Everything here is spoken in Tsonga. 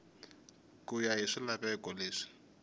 ku ya hi swilaveko leswi